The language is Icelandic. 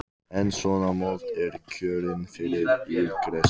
En svona mold er kjörin fyrir illgresi.